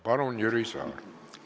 Palun, Jüri Saar!